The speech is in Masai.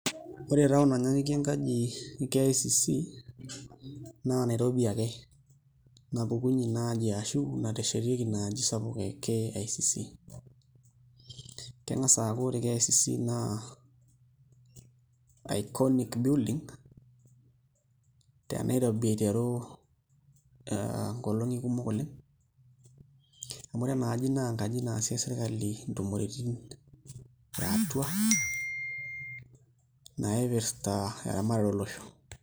Ore town nanyanyukie enkaji KICC naa Nairobi ake napukunyie ina aji ashu nateshetieki ina aji sapuk e KICC, keng'as aaku ore KICC naa iconic building te Nairobi aiteru nkolong'i kumok oleng' amu ore ina aji naa enkaji naasie sirkali intumoreitin a atua naipirta eramatare olosho.